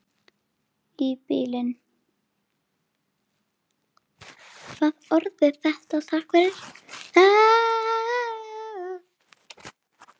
Í bili.